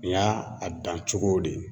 Nin y'a a dan cogo de ye.